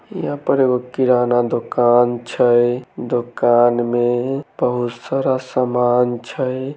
यहाँ पर एगो किराना दुकान छए दुकान में बहुत सारा समान छए।